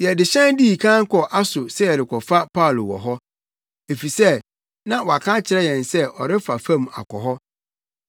Yɛde hyɛn dii kan kɔɔ Aso sɛ yɛrekɔfa Paulo wɔ hɔ, efisɛ na waka akyerɛ yɛn se ɔrefa fam akɔ hɔ.